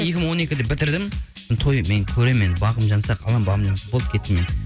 екі мың он екіде бітірдім мен көремін мен еді бағым жанса қаламын бағым жанбаса болдым кеттім мен